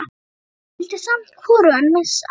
Dóra, en vildi samt hvorugan missa.